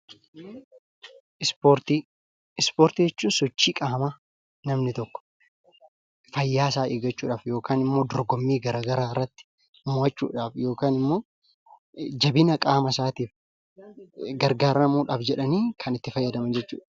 Ispoortii: Ispoortii jechuun sochii qaamaa namni tokko fayyaa isaa eeggachuudhaaf yookaan immoo dorgommii garagaraa irratti mo'achuudhaaf yookaan immoo jabina qaamasaatiif gargaaramuudhaaf jedhanii kan itti fayyadaman jechuu dha.